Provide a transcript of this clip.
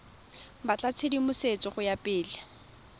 batla tshedimosetso go ya pele